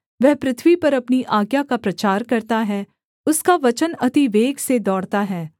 वह पृथ्वी पर अपनी आज्ञा का प्रचार करता है उसका वचन अति वेग से दौड़ता है